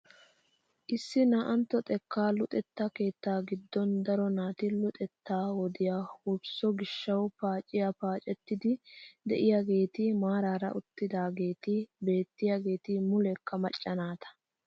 Issi naa"antto xekkaa luxetta keettaa giddon daro naati luxettaa wodiyaa wursso gishshawu paaciyaa paacettiidi de'iyaageti maarara uttidaageti beettiyaageti muleekka macca naata!